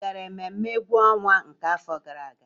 Ị gara mmemme egwu ọnwa nke afọ gara aga?